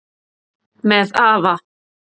Með afa